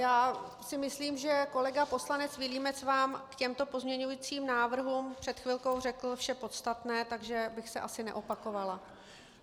Já si myslím, že kolega poslanec Vilímec vám k těmto pozměňovacím návrhům před chvilkou řekl vše podstatné, takže bych se asi neopakovala.